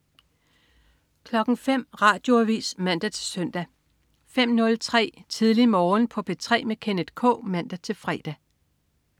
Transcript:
05.00 Radioavis (man-søn) 05.03 Tidlig Morgen på P3 med Kenneth K (man-fre)